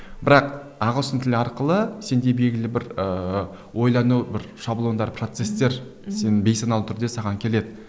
бірақ ағылшын тілі арқылы сенде белгілі бір ыыы ойлану бір шаблондар процесстер сені бейсаналы түрде саған келеді